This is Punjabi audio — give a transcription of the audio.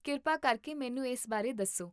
ਕਿਰਪਾ ਕਰਕੇ ਮੈਨੂੰ ਇਸ ਬਾਰੇ ਦੱਸੋ